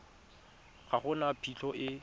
ga go na phitlho e